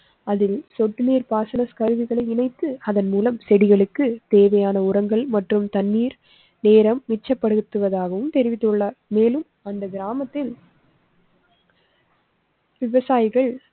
அதில் சொட்டு நீர் பாசன கருவிகளை இணைத்து அதன் மூலம் செடிகளுக்கு தேவையான உரங்கள் மற்றும் தண்ணீர் நேரம் மிச்சப்படுத்துவதாகவும் தெரிவித்துள்ளார். மேலும் அந்த கிராமத்தில். விவசாயிகள்